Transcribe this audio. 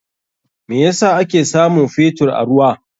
Me yasa ake samun Fetur a ruwa?